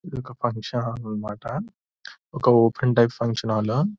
ఇది ఒక function hall అన్నమాట. ఒక ఓపెన్ టైప్ ఫంక్షన్ హాలు .